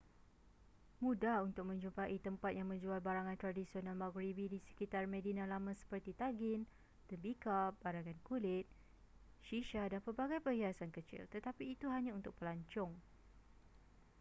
mudah untuk menjumpai tempat yang menjual barangan tradisional maghribi di sekitar medina lama seperti tagin tembikar barangan kulit shisha dan pelbagai perhiasan kecil tetapi itu hanya untuk pelancong